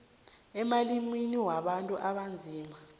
emalimini wabantu abanzima